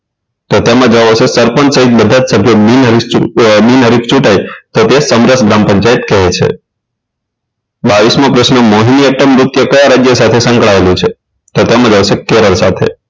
તેમાં જવાબ આવશે સરપંચ સહિત બધા જ સભ્યો બિનહરીફચીત બિનહરીફચિત તેને સમરસ ગ્રામ પંચાયત કહે છે બાવીસ મો પ્રશ્ન મોહી એટમ કયા રાજ્ય સાથે સંકળાયેલું છે તો તેમાં જવાબ આવશે કેરલ સાથે